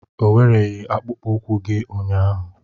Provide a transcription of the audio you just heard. O wereghị akpụkpọ ụkwụ gị ụnyaahụ.